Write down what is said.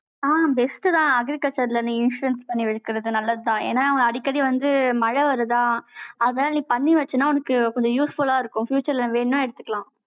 ஆஹ் best தான், agriculture ல, நீ, insurance பண்ணி வைக்கிறது, நல்லதுதான். ஏன்னா, அவங்க, அடிக்கடி வந்து, மழை வருதா அதனால, நீ பண்ணி வச்சன்னா, உனக்கு கொஞ்சம் useful ஆ இருக்கும். future ல, வேணும்னா எடுத்துக்கலாம்.